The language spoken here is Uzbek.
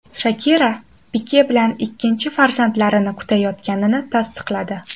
Shakira Pike bilan ikkinchi farzandlarini kutayotganini tasdiqladi.